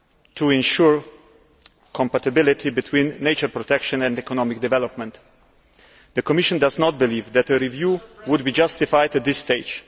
to ensure compatibility between nature protection and economic development. The Commission does not believe that a review would be justified at this stage.